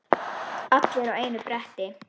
Allir á einu bretti.